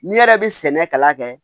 N'i yɛrɛ bɛ sɛnɛ kalan kɛ